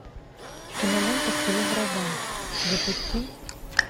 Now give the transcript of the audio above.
кинолента в тылу врага запусти